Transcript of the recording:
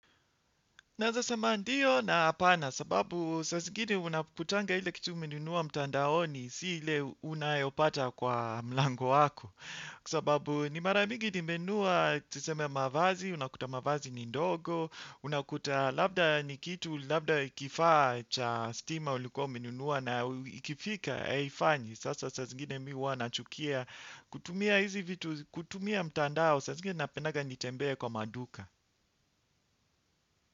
Naweza sema ndiyo na hapana sababu saa zingine unakutanga ile kitu umenunua mtandaoni si ile unayopata kwa mlango wako. Kwa sababu ni mara mingi nimenunua tuseme mavazi, unakuta mavazi ni ndogo, unakuta labda ni kitu labda kifaa cha stima ulikuwa umenunua na ikifika haifanyi. Sasa saa zingine mimi huwa nachukia kutumia hizi vitu kutumia mtandao saa zingine napendanga nitembee kwa maduka.